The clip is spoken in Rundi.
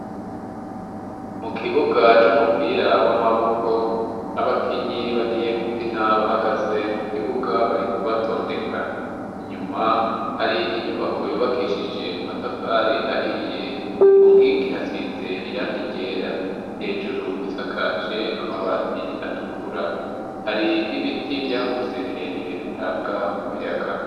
Mu kibuga c'umupira w'amaboko, abakinyi bagiye gukina bahagaze mu kibuga, bariko barabatondeka. Inyuma hari inyubako yubakishije amatafari ahiye. Ku nkingi hasize iranga ryera, hejuru isakaje amabati atukura. Hari n'ibiti vyakuze birebire bitanga umuyaga.